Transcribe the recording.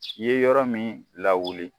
I ye yɔrɔ min lawuli